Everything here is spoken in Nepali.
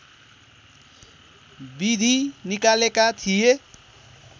विधि निकालेका थिए